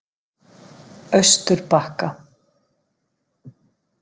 Austurbakka